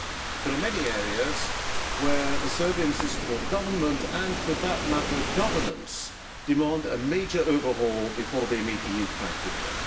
There are many areas where the Serbian system of government and, for that matter, governance demand a major overhaul before they meet the EU criteria.